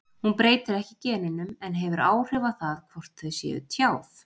Hún breytir ekki genunum en hefur áhrif á það hvort þau séu tjáð.